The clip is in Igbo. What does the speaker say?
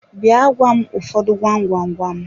Bịa gwa m ụfọdụ gwam gwam gwam!